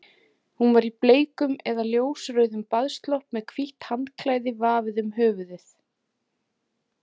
Hún var í bleikum eða ljósrauðum baðslopp með hvítt handklæði vafið um höfuðið.